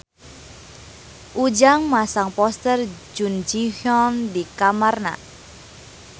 Ujang masang poster Jun Ji Hyun di kamarna